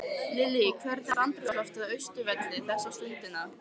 Lillý, hvernig er andrúmsloftið á Austurvelli þessa stundina?